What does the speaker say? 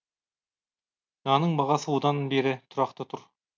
нанның бағасы одан бері тұрақты тұр